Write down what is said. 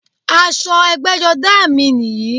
Aṣọ ẹgbẹ́jọdá à mi nìyí